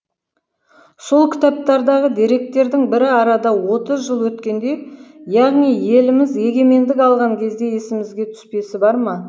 сол кітаптардағы деректердің бірі арада отыз жыл өткенде яғни еліміз егемендік алған кезде есімізге түспесі бар ма